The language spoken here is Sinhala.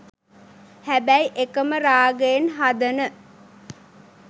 හැබැයි එකම රාගයෙන් හදන